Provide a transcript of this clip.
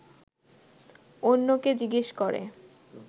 অন্যকে জিজ্ঞেস করে